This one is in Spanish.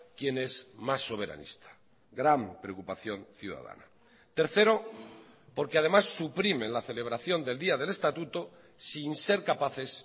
quién es más soberanista gran preocupación ciudadana tercero porque además suprimen la celebración del día del estatuto sin ser capaces